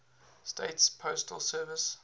states postal service